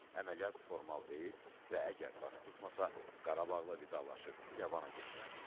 Əməliyyat formal deyil və əgər baş tutmasa, Qarabağla vidalaşıb İrəvana getməliyik.